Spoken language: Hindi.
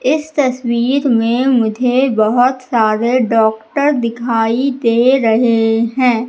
इस तस्वीर में मुझे बहोत सारे डॉक्टर दिखाई दे रहे हैं।